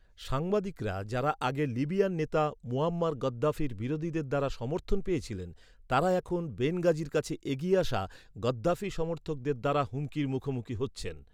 সাংবাদিকরা যারা আগে লিবিয়ার নেতা মুয়াম্মার গাদ্দাফির বিরোধীদের দ্বারা সমর্থন পেয়েছিলেন, তারা এখন বেনগাজির কাছে এগিয়ে আসা গাদ্দাফি সমর্থকদের দ্বারা হুমকির মুখোমুখি হচ্ছেন।